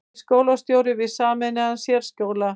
Nýr skólastjóri við sameinaðan sérskóla